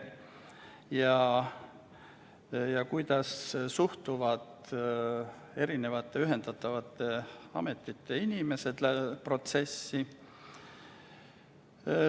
Tunti huvi, kuidas suhtuvad ühendatavate ametite töötajad protsessi.